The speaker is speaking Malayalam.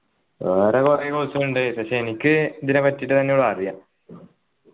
വേറെ കുറെ course കളുണ്ട് പക്ഷെ എനിക്ക് ഇതിനെപ്പറ്റിറ്റ് തന്നെയാ അറിയുക